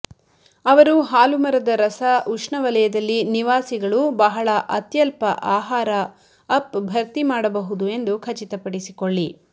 ಅವರು ಹಾಲು ಮರದ ರಸ ಉಷ್ಣವಲಯದಲ್ಲಿ ನಿವಾಸಿಗಳು ಬಹಳ ಅತ್ಯಲ್ಪ ಆಹಾರ ಅಪ್ ಭರ್ತಿ ಮಾಡಬಹುದು ಎಂದು ಖಚಿತಪಡಿಸಿಕೊಳ್ಳಿ